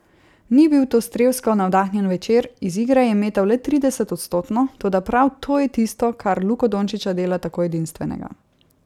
Ni bil to strelsko navdahnjen večer, iz igre je metal le trideset odstotno, toda prav to je tisto, kar Luko Dončića dela tako edinstvenega.